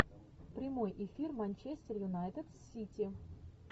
прямой эфир манчестер юнайтед с сити